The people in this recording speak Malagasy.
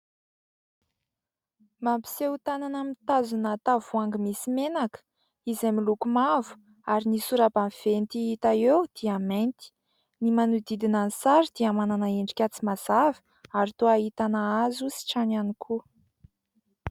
Mampiseho tanana mitazona tavoahangy misy menaka izay miloko mavo, ary ny sora-baventy hita eo dia mainty. Ny manodidina ny sary dia manana endrika tsy mazava ary toa ahitana hazo sy trano ihany koa.